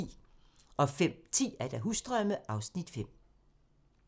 05:10: Husdrømme (Afs. 5)